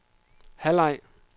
halvleg